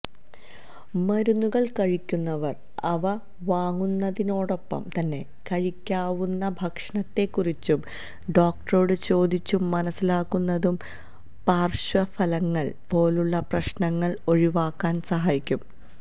മരുന്നുകള് കഴിക്കുന്നവര് അവ വാങ്ങുന്നതിനോടൊപ്പം തന്നെ കഴിക്കാവുന്ന ഭക്ഷണത്തെക്കുറിച്ചും ഡോക്ടറോട് ചോദിച്ചു മനസിലാക്കുന്നത് പാര്ശ്വഫലങ്ങള് പോലുള്ള പ്രശ്നങ്ങള് ഒഴിവാക്കാന് സഹായിക്കും